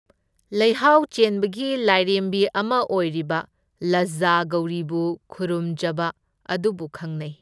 ꯂꯩꯍꯥꯎ ꯆꯦꯟꯕꯒꯤ ꯂꯥꯏꯔꯦꯝꯕꯤ ꯑꯃ ꯑꯣꯏꯔꯤꯕ, ꯂꯖꯖꯥ ꯒꯧꯔꯤꯕꯨ ꯈꯨꯔꯨꯝꯖꯕ ꯑꯗꯨꯕꯨ ꯈꯪꯅꯩ꯫